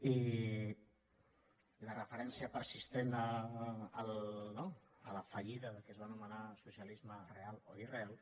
i la referència persistent a la fallida del que es va anomenar socialisme real o irreal